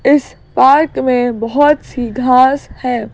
इस पार्क में बहुत सी घास है।